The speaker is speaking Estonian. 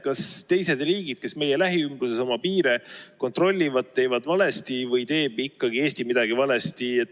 Kas teised riigid, kes meie lähiümbruses oma piire kontrollivad, teevad valesti või teeb ikkagi Eesti midagi valesti?